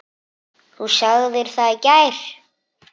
Þú sagðir það í gær.